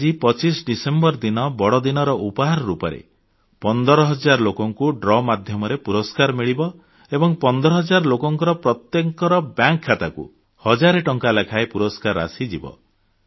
ଆଜି 25 ଡିସେମ୍ବର ବଡଦିନର ଉପହାର ରୂପେ 15000 ଲୋକଙ୍କୁ ଲକି ଡ୍ର ମାଧ୍ୟମରେ ଭାଗ୍ୟଶାଳୀ ବିଜେତାଙ୍କୁ ପୁରସ୍କାର ମିଳିବ ଏବଂ ଏହି 15000 ଲୋକଙ୍କ ବ୍ୟାଙ୍କ ଖାତାକୁ ହଜାର ଟଙ୍କା ଲେଖାଏଁ ପୁରସ୍କାର ରାଶିଯିବ